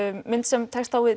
mynd sem tekst á við